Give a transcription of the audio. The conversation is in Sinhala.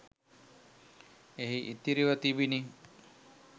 එහි ඉතිරිව තිබිණි.